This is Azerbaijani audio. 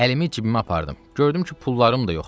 Əlimi cibimə apardım, gördüm ki, pullarım da yoxdur.